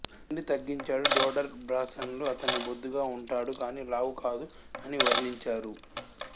తిండి తగ్గించాడు డోడర్ బ్రాన్సన్ లు అతన్ని బొద్దుగా ఉంటాడు గానీ లావు కాదు అని వర్ణించారు